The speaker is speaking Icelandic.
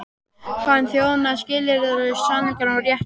Hann þjónaði skilyrðislaust sannleikanum og réttlætinu.